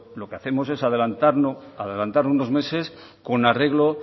lo que hacemos es adelantarlo unos meses con arreglo